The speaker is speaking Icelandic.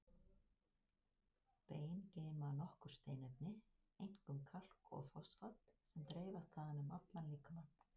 Bein geyma nokkur steinefni, einkum kalk og fosfat, sem dreifast þaðan um allan líkamann.